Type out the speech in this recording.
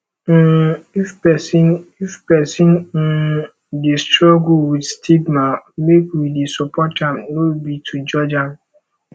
um if pesin if pesin um dey struggle wit stigma make we dey support am no be to judge am